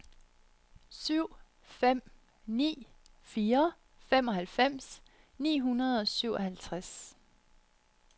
syv fem ni fire femoghalvfems ni hundrede og syvoghalvtreds